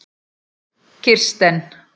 Kirsten